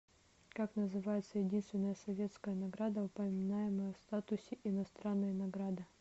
как называется единственная советская награда упоминаемая в статусе иностранной награды